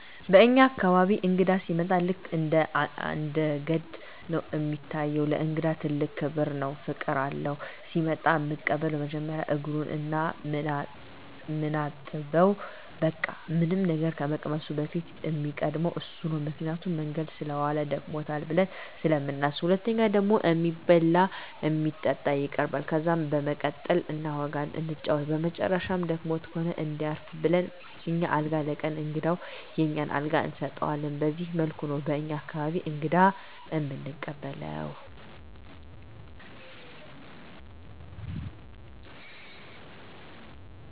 በኛ አካባቢ እንግዳ ሲመጣ ልክ እንደ ገድ ነው እሚታየው። ለእንግዳ ትልቅ ክብር እና ፍቅር አለው። ሲመጣ እምንቀበለው መጀመሪያ እግሩን ነው ምናጥበው በቃ ምንም ነገር ከመቅመሱ በፊት እሚቀድመው እሱ ነው ምክንያቱም መንገድ ሰለዋለ ደክሞታል ብለን ስለምናስብ። ሁለተኛው ደግሞ እሚበላ እና እሚጠጣ ይቀርባል። ከዛ በመቀጠል እናወጋለን እንጫወታለን በመጨረሻም ደክሞት ከሆነ እንዲያርፍ ብለን አኛ አልጋ ለቀን እንግዳውን የኛን አልጋ እንሰጠዋለን በዚህ መልኩ ነው በኛ አካባቢ እንግዳ እምንቀበለው።